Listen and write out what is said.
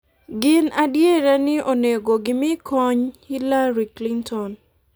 gin adiera ni onego gimi kony Hillary Clinton."